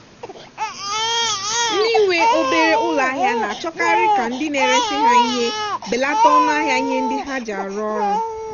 ndị nwe obere ụlọ ahịa na-achọkarị ka ndị na-eresị ha ihe belata ọnụ ahịa ihe ndị ha ji arụ ọrụ